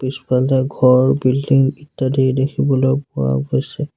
পিছফালদি ঘৰ বিল্ডিং ইত্যাদি দেখিবলৈ পোৱা গৈছে।